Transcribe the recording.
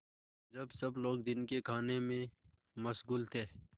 जब सब लोग दिन के खाने में मशगूल थे